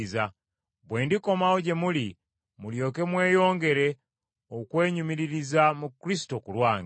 bwe ndikomawo gye muli mulyoke mweyongere okwenyumiririza mu Kristo ku lwange.